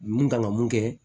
Mun kan ka mun kɛ